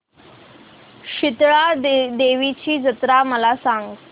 शितळा देवीची जत्रा मला सांग